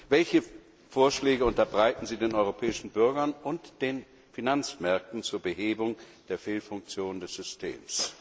Welche Vorschläge unterbreiten sie den europäischen Bürgern und den Finanzmärkten zur Behebung der Fehlfunktion des Systems?